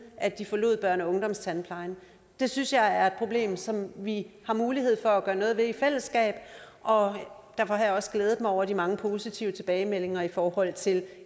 at de forlod børne og ungdomstandplejen det synes jeg er et problem som vi har mulighed for at gøre noget ved i fællesskab og derfor har jeg også glædet mig over de mange positive tilbagemeldinger i forhold til